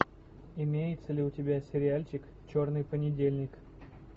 имеется ли у тебя сериальчик черный понедельник